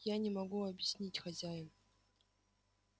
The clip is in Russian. я не могу объяснить хозяин